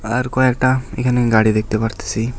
আর কয়েকটা এখানে গাড়ি দেখতে পারতেছি।